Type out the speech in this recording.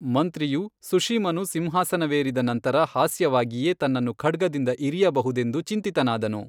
ಮಂತ್ರಿಯು ಸುಶೀಮನು ಸಿಂಹಾಸನವೇರಿದ ನಂತರ ಹಾಸ್ಯವಾಗಿಯೇ ತನ್ನನ್ನು ಖಡ್ಗದಿಂದ ಇರಿಯಬಹುದೆಂದು ಚಿಂತಿತನಾದನು.